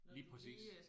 Lige præcis